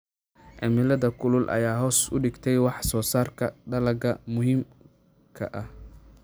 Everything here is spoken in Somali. Cimilada kulul ayaa hoos u dhigtay wax soo saarka dalagyada muhiimka ah.